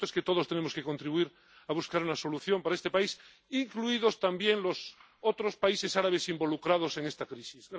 Lo cierto es que todos tenemos que contribuir a buscar una solución para este país, incluidos también los otros países árabes involucrados en esta crisis.